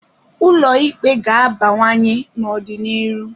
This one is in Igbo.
Ụlọ Ikpe ga-abawanye n'ọ dị n'iru.